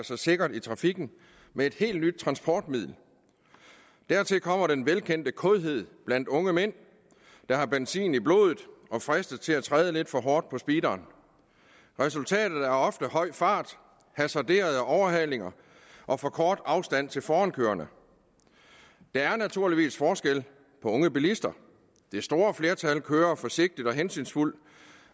sig sikkert i trafikken med et helt nyt transportmiddel dertil kommer den velkendte kådhed blandt unge mænd der har benzin i blodet og fristes til at træde lidt for hårdt på speederen resultatet er ofte høj fart hasarderede overhalinger og for kort afstand til forankørende der er naturligvis forskel på unge bilister det store flertal kører forsigtigt og hensynsfuldt